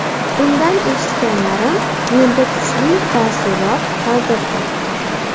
Undan eshitganlarim menda kuchli taassurot qoldirdi.